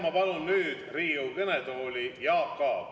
Ma palun nüüd Riigikogu kõnetooli, Jaak Aab.